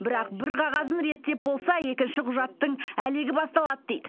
бірақ бір қағазын реттеп болса екінші құжаттың әлегі басталады дейді